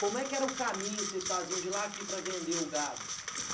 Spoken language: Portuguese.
Como é que era o caminho que vocês faziam de lá a aqui para vender o gado?